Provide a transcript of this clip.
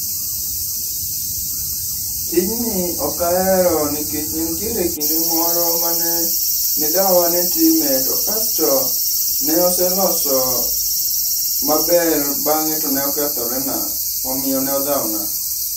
Tijni ok ahero nikech ne nitiere kinde moro mane ne dawa ne time to kasto ne oseloso maber bang'e to ne okethore na . Omiyo ne odhawo na.